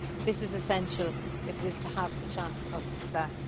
This is essential if it is to have a chance of success.